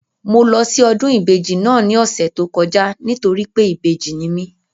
Mo lọ sí ọdún ìbejì náà ní ọ̀sẹ̀ tó kọjá nítorí pé ìbejì ni mi